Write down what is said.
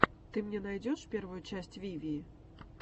ты мне найдешь первую часть вивии